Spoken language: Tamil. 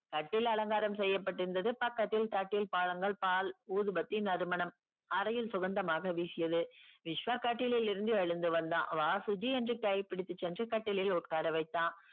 கட்டில் அலங்காரம் செய்யப்பட்டிருந்தது பக்கத்தில் தட்டில் பழங்கள் பால் ஊதுபத்தி நறுமணம் அறையில் சுகமாக வீசியது விஷ்வா கட்டிலில் இருந்து எழுந்து வந்தான் வா சுஜி என்று கை பிடித்துச்சென்று கட்டிலில் உட்காரவைத்தான்